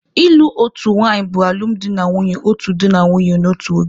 Ịlụ otu nwanyị bụ alụmdi na nwunye otu di na nwunye n'otu oge.